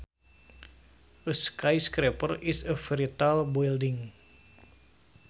A skyscraper is a very tall building